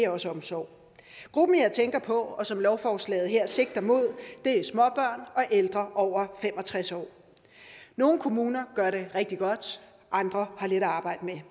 også omsorg de grupper jeg tænker på og som lovforslaget her sigter mod er småbørn og ældre over fem og tres år nogle kommuner gør det rigtig godt andre har lidt at arbejde med